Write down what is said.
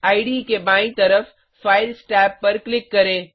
इडे के बायीं तरफ फाइल्स टैब पर क्लिक करें